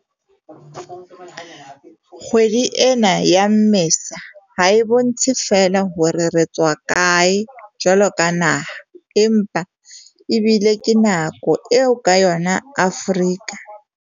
Kgwedi ena ya Mmesa ha e bontshe feela hore re tswa kae jwaloka naha, empa ebile ke nako eo ka yona Afrika.